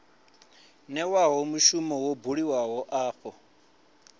newaho mushumo wo buliwaho afho